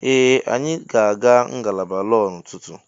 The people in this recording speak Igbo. Ee, anyị ga-aga ngalaba lọọ n'ụtụtụ.